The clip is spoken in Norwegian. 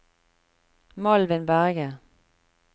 Malvin Berge